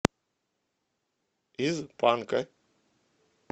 из панка